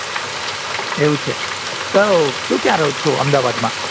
એવું છે તો તો ક્યાં રહોછો અમદાવાદમાં